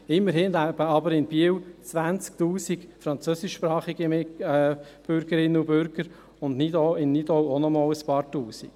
Immerhin leben aber in Biel 20 000 französischsprachige Bürgerinnen und Bürger, und in Nidau auch noch einmal ein paar Tausend.